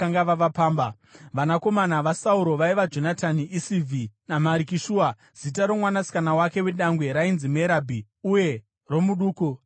Vanakomana vaSauro vaiva Jonatani, Ishivhi naMarikishua. Zita romwanasikana wake wedangwe rainzi Merabhi, uye romuduku rainzi Mikari.